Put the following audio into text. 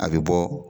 A bɛ bɔ